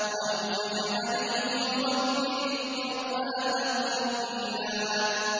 أَوْ زِدْ عَلَيْهِ وَرَتِّلِ الْقُرْآنَ تَرْتِيلًا